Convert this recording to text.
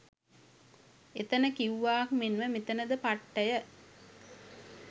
එතන කිව්වාක් මෙන්ම මෙතැන ද පට්ටය